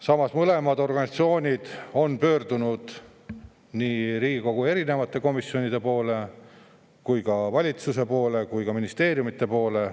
Samas on mõlemad organisatsioonid pöördunud nii Riigikogu erinevate komisjonide poole kui ka valitsuse poole, samuti ministeeriumide poole.